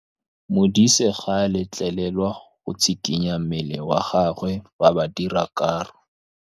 Modise ga a letlelelwa go tshikinya mmele wa gagwe fa ba dira karô.